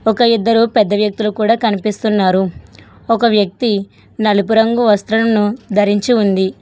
ఒక ఇద్దరు పెద్ద వ్యక్తులు కూడా కనిపిస్తున్నారు ఒక వ్యక్తి నలుపు రంగు వస్త్రమును ధరించి ఉంది.